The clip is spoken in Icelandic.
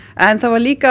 en það var